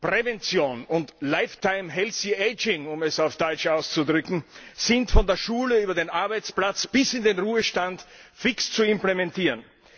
Prävention und lifelong healthy aging um es auf Deutsch auszudrücken sind von der Schule über den Arbeitsplatz bis in den Ruhestand fix zu implementieren.